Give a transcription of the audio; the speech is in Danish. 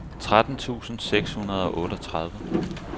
tretten tusind seks hundrede og otteogtredive